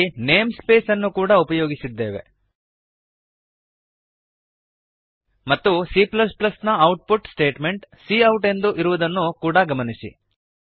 ಇಲ್ಲಿ namespace ಅನ್ನು ಕೂಡಾ ಉಪಯೋಗಿಸಿದ್ದೇವೆ ಮತ್ತು cನ output statement C out ಎಂದಿರುವುದನ್ನು ಕೂಡಾ ಗಮನಿಸಿ